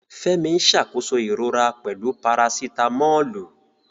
Fẹ́mi ń ṣàkóso ìrora pẹ̀lú Parasitamọ́ọ̀lù.